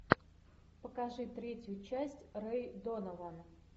покажи третью часть рэй донован